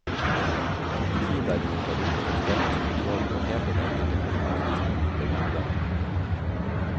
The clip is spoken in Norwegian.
Tid derimot, er utenfor statens kontroll, og helt den enkelte persons disponible gode.